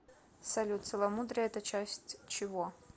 салют целомудрие это часть чего